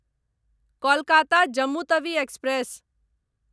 Kolkata Jammu Tawi express